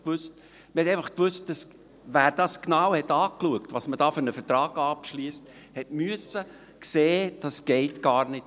Wer genau angeschaut hat, was für einen Vertrag man da abschliesst, musste sehen: Das geht so gar nicht.